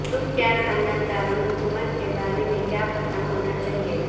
تم کیا خاندان دارالحکومت کے بارے میں کیا پتہ ہونا چاہیئے